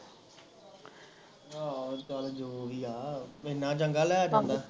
ਆਹੋ ਚੱਲ ਜੋ ਵੀ ਆ ਐਨਾ ਡੰਗਆ ਲੈ ਜਾਂਦਾ ਆਹੋ